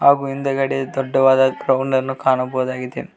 ಹಾಗು ಹಿಂದ್ಗಡೆ ದೊಡ್ಡವಾದ ಗ್ರೌಂಡನ್ನು ಕಾಣಬಹುದಾಗಿದೆ.